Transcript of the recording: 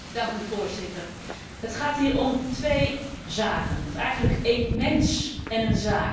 Voorzitter, het gaat hier om twee zaken of eigenlijk één mens en een zaak.